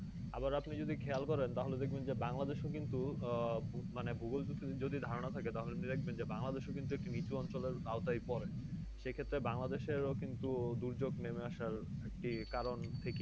আবার আপনি যদি খেয়াল করেন তাহলে দেখবেন যে বাংলাদেশে কিন্তু আহ বু মানে ভূগোল যদি ধরাণা থাকে তাহলে দেখবেন বাংলাদেশে কিন্তু নিচু অঞ্চলের আওতায় পড়ে। সেই ক্ষেত্রে বাংলাদেশের ও কিন্তু দুর্যোগ নেমে আসার একটি কারণ থেকে।